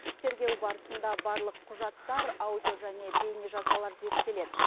тергеу барысында барлық құжаттар аудио және бейнежазбалар зерттеледі